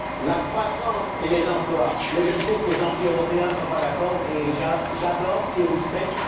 La croissance et les emplois mais je sais que les anti européens ne sont pas d'accord et j'adore qu'ils rouspètent